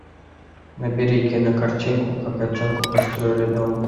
набери кино картинку как котенку построили дом